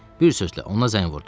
Bir sözlə, ona zəng vurdum.